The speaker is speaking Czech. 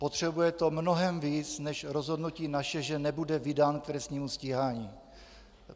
Potřebuje to mnohem víc než rozhodnutí naše, že nebude vydán k trestnímu stíhání.